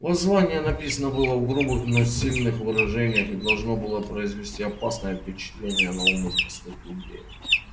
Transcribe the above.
воззвание написано было в грубых но сильных выражениях и должно было произвести опасное впечатление на умы простых людей